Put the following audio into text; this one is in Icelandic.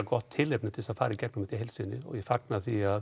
gott tilefni til að fara í gegnum þetta og fagna því að